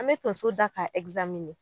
An bɛ tonso da ka